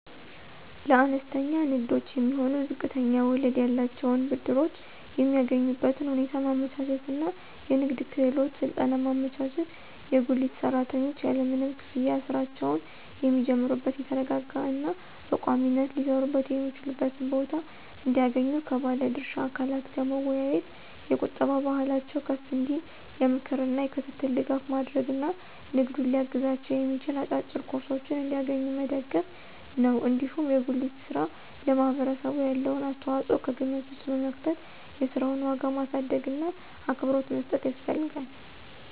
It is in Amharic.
ለአነስተኛ ንግዶች የሚሆኑ ዝቅተኛ ወለድ ያላቸውን ብድሮች የሚያገኙበትን ሁኔታ ማመቻቸት እና የንግድ ክህሎት ስልጠና ማመቻቸት፣ የጉሊት ሰራተኞች ያለምንም ክፍያ ሥራቸውን የሚጀምሩበት የተረጋጋ እና በቋሚነት ሊሰሩበት የሚችሉበትን ቦታ እንዲያገኙ ከባለ ድርሻ አካላት ጋር መወያየት፣ የቁጠባ ባህላቸው ከፍ እንዲል የምክር እና የክትትል ድጋፍ ማድረግ እና ንግዱን ሊያግዛቸው የሚችል አጫጭር ኮርሶችን እንዲያገኙ መደገፍ ነው። እንዲሁም የጉሊት ሥራ ለማህበረሰቡ ያለውን አስተዋጽኦ ከግምት ውስጥ በመክተት የሥራውን ዋጋ ማሳደግእና አክብሮት መስጠት ያስፈልጋል።